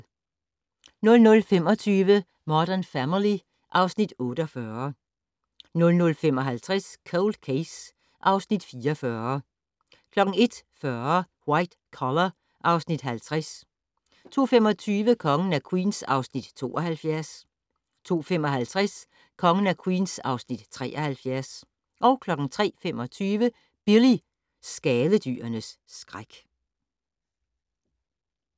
00:25: Modern Family (Afs. 48) 00:55: Cold Case (Afs. 44) 01:40: White Collar (Afs. 50) 02:25: Kongen af Queens (Afs. 72) 02:55: Kongen af Queens (Afs. 73) 03:25: Billy - skadedyrenes skræk